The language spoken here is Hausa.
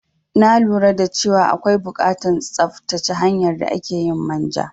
Na lura dace wa akwai bukatan tsattace hanyar da akeyin manja